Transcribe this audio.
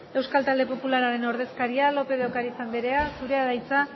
euskal talde popularraren ordezkaria lópez de ocariz anderea zurea da hitza